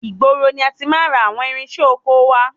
Ìgboro ni a ti máa ń ra àwọn irinṣẹ́ ọkọ wá.